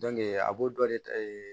a b'o dɔ de ta